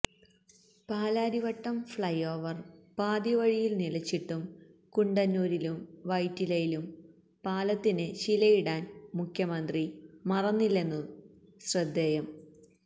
Palarivattom flyover പാതി വഴിയില് നിലച്ചിട്ടും കുണ്ടന്നൂരിലും വൈറ്റിലയിലും പാലത്തിന് ശിലയിടാന് മുഖ്യമന്ത്രി മറന്നില്ലെന്നതും ശ്രദ്ധേയം